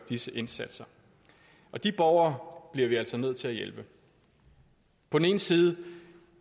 disse indsatser og de borgere bliver vi altså nødt til at hjælpe på den ene side